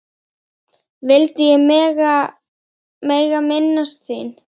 vildi ég mega minnast þín.